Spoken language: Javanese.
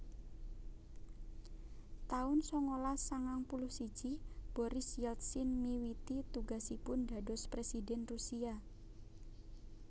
taun sangalas sangang puluh siji Boris Yeltsin miwiti tugasipun dados Présidhèn Rusia